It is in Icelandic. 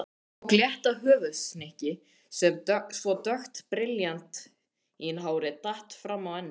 Tók létta höfuðhnykki svo dökkt brilljantínhárið datt frammá ennið.